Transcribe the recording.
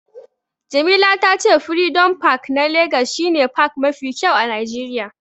Jamila ta ce furidom pak na legas shi ne pak mafi kyau a najeriya